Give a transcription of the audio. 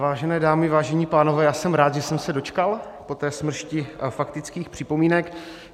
Vážené dámy, vážení pánové, já jsem rád, že jsem se dočkal po té smršti faktických připomínek.